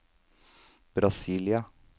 Brasília